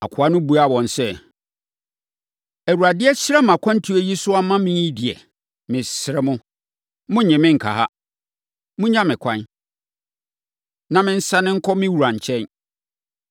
Akoa no buaa wɔn sɛ, “ Awurade ahyira mʼakwantuo yi so ama me yi deɛ, mesrɛ mo, monnnye me nka ha. Monnya me ɛkwan, na mensane nkɔ me wura nkyɛn.”